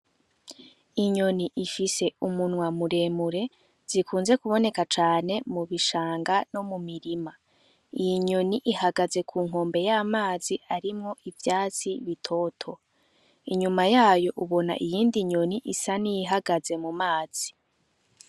Inyoni ifise umunwa muremure, zikunze kuboneka cane mu bishanga no mu mirima, iyi nyoni ihagaze ku nkombe y'amazi arimwo ivyatsi bitoto, inyuma yayo ubona iyindi nyoni isa n'iyihagaze mu mazi.